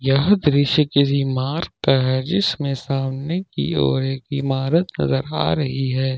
यह दृश्य किसी मार्ग का है जिसमें सामने की ओर एक इमारत नजर आ रही है।